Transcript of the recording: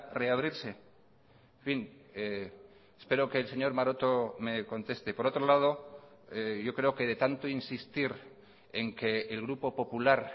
reabrirse en fin espero que el señor maroto me conteste por otro lado yo creo que de tanto insistir en que el grupo popular